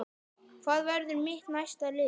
Hvað verður mitt næsta lið?